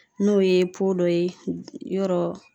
N'o ye dɔ ye, yɔrɔ